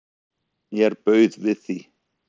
Mér bauð við því.